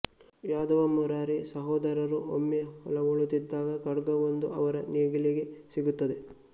ಯಾದವ ಮುರಾರಿ ಸಹೋದರರು ಒಮ್ಮೆ ಹೊಲವೂಳುತ್ತಿದ್ದಾಗ ಖಡ್ಗವೊಂದು ಅವರ ನೇಗಿಲಿಗೆ ಸಿಗುತ್ತದೆ